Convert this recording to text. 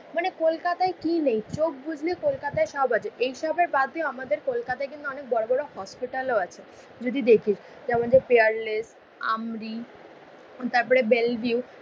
মানে কলকাতায় কি নেই, চোখ বুঝলে কলকাতায় সব আছে। এইসব বাদ দিয়েও আমাদের কলকাতায় কিন্তু অনেক বড়োবড়ো হসপিটালও আছে। যদি দেখিস যে আমাদের পিয়ারলেস, আমরি তারপরে বেলভিউ